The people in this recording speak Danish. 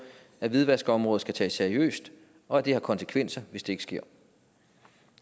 at hvidvaskområdet skal tages seriøst og at det har konsekvenser hvis det ikke sker